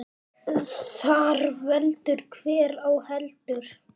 Þar veldur hver á heldur.